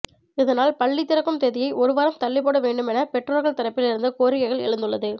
இதனால் பள்ளி திறக்கும் தேதியை ஒருவாரம் தள்ளிப்போட வேண்டும் என பெற்றோர்கள் தரப்பில் இருந்து கோரிக்கைகள் எழுந்துள்ளது